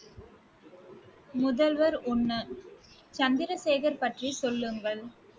முதல்வர் ஒண்ணு, சந்திரசேகர் பற்றி சொல்லுங்கள்